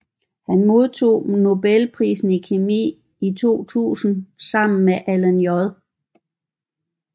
Han modtog nobelprisen i kemi i 2000 sammen med Alan J